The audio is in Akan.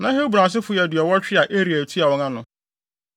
Na Hebron asefo yɛ aduɔwɔtwe (80) a Eliel tua wɔn ano.